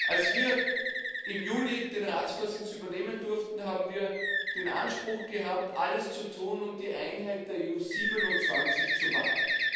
Als wir im Juli den Ratsvorsitz übernehmen durften, haben wir den Anspruch gehabt, alles zu tun, um die Einheit der EU 27 zu wahren.